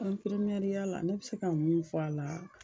Ɛnfirimiyɛriya la ne bɛ se ka mun fɔ a la